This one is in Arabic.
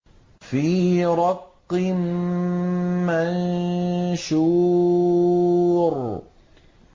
فِي رَقٍّ مَّنشُورٍ